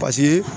Paseke